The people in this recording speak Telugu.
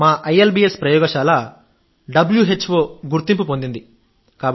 మా ఐఎల్బీఎస్ ప్రయోగశాల వ్హో గుర్తింపు పొందింది